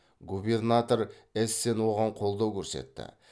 губернатор эссен оған қолдау көрсетті